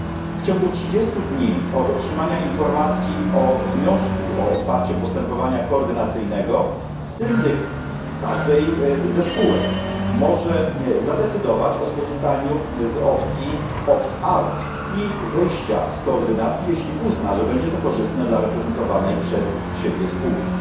W ciągu 30 dni od otrzymania informacji o wniosku o otwarcie postępowania koordynacyjnego syndyk każdej ze spółek może zadecydować o skorzystaniu z opcji opt out i wyjścia z koordynacji, jeśli uzna, że będzie to korzystne dla reprezentowanej przez siebie spółki.